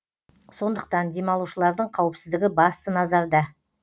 сондықтан демалушылардың қауіпсіздігі басты назарда